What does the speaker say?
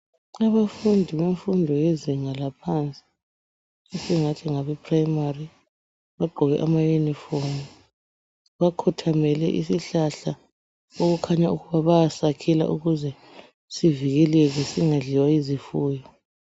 Abafundi kumfundo yezinga laphansi esingathi ngabe primary bagqoke amauniform bakhothamele isihlahla okukhanya ukuba baya sakhela ukuze sivekeleke singadliwa yizifuyo.